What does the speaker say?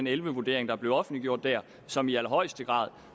elleve vurdering der blev offentliggjort der som i allerhøjeste grad